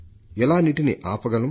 ఎలా నీటిని ఆపగలం